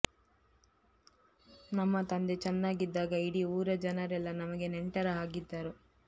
ನಮ್ಮ ತಂದೆ ಚನ್ನಾಗಿದ್ದಾಗ ಇಡೀ ಊರ ಜನರೆಲ್ಲ ನಮಗೆ ನೆಂಟರ ಹಾಗಿದ್ದರು